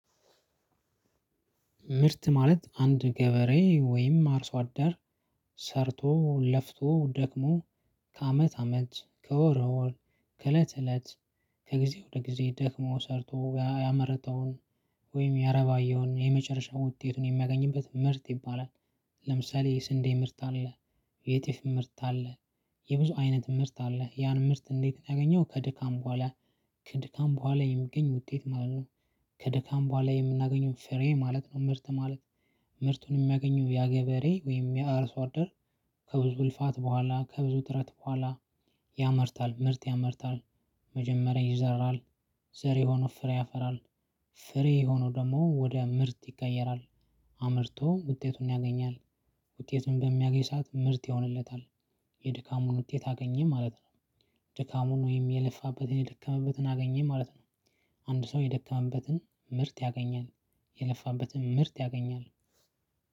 ምርት ማለት አንድ ገበሬ ወይም አርሶ አዳር ሰርቶ ለፍቶ ደክሞ ከአመት አመት ከወር ወር ከእለት እለት ከጊዜ ወደ ጊዜ ደክሞ ሰርቶ ያመረተውን ወይም ያረባየውን የመጨረሻውን ውጤቱን የሚያገኝበት ምርት ይባላል። ለምሳሌ የስንዴ ምርት አለ። የጤፍ ምርት አለ። የብዙ አይነት ምርት አለ ያን ምርት እንዴት ነው ያገኘው? ከድካም በኋላ ከድካም በኋላ የሚገኝ ውጤት ማለት ነው። ከድካም በኋላ የምናገኘውን ፍሬ ማለት ነው። ምርት ማለት። ምርቱን የሚያገኘው ያ ገበሬ ወይም ያ አርሶ አደር። ከብዙ ልፋት በኋላ ከብዙ ጥረት በኋላ ያመርታል ምርት ያመርታል። መጀመሪያ ይዘራል ዘር ዘር የሆነው ፍሬ ያፈራል። ፍሬ የሆነው ደግሞ ወደ ምርት ይቀየራል። አምርቶ ውጤቱን ያገኛል። ውጤቱን በሚያገኝ ሰዓት ምርት ይሆንለታል። የድካሙን ውጤት አገኘ ማለት ነው። ድካሙን ወይም የለፋበትን የደከመበትን አገኘ ማለት ነው። አንድ ሰው የደከመበትን ምርት ያገኛል። የለፋበትን ምርት ያገኛል።